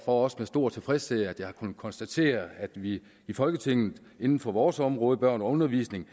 også med stor tilfredshed at jeg har kunnet konstatere at vi i folketinget inden for vores område børn og undervisning